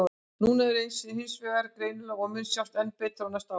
Núna er hann hins vegar vel greinilegur og mun sjást enn betur á næstu árum.